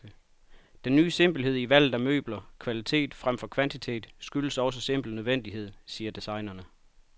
Den ny simpelhed i valget af møbler, kvalitet fremfor kvantitet, skyldes også simpel nødvendighed, siger designerne.